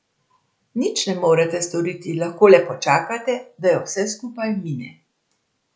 Nič ne morete storiti, lahko le počakate, da jo vse skupaj mine.